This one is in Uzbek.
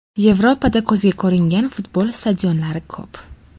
Yevropada ko‘zga ko‘ringan futbol stadionlari ko‘p.